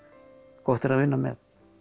gott er að vinna með